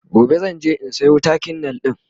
gobe zan je in Sayo takin nail ɗin